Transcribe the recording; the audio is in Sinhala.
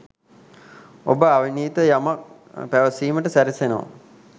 ඔබ අවිනීත යමක් පැවසීමට සැරසෙනවා